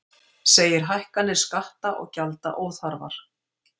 Segir hækkanir skatta og gjalda óþarfar